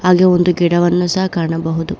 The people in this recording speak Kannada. ಹಾಗೆ ಒಂದು ಗಿಡವನ್ನು ಸಹ ಕಾಣಬಹುದು.